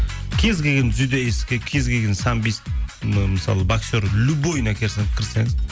кез келген дзюдаистке кез келген самбист мысалы боксер любойына кірсеңіз